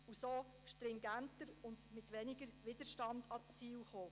So käme man stringenter und mit weniger Widerstand zum Ziel.